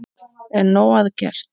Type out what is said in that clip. Er nóg að gert?